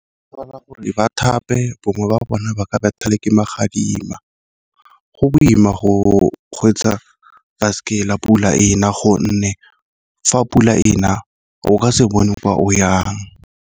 gore ba thape bongwe ba bona ba ka botha le ke magadima. Go boima go kgweetsa baesekele pula ena, gonne fa pula ena o ka se bone kwa o yang.